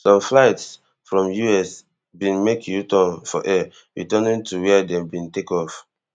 some flights from us bin make uturn for air returning to wia dem bin take off